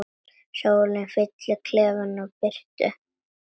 Sólin fyllir klefann birtu.